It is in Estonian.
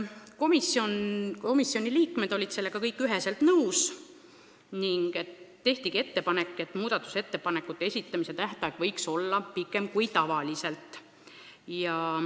Komisjoni liikmed olid sellega kõik nõus ning nii tehtigi ettepanek, et muudatusettepanekute esitamise tähtaeg võiks olla pikem kui tavaliselt.